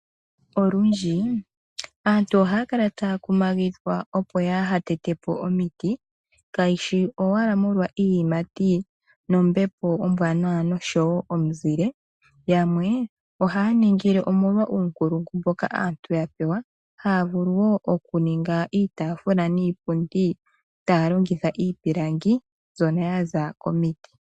Olundji aantu ohaya kala taya kumagidhwa opo kaya tetepo omiti kayishi owala molwa iiyimati nombepo ombwanawa nomuzile yamwe ohaya ningile omolwa uunkulungu mboka aantu ya pewa haya vulu okuninga iitafula niipundi taya longitha iipilangi mbyono yaza komiti.